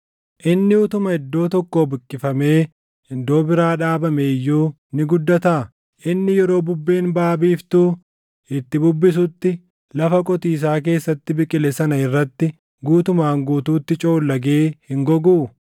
Inni utuma iddoo tokkoo buqqifamee iddoo biraa dhaabamee iyyuu ni guddataa? Inni yeroo bubbeen baʼa biiftuu itti bubbistutti lafa qotiisaa keessatti biqile sana irratti guutumaan guutuutti coollagee hin goguu?’ ”